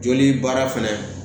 Joli baara fɛnɛ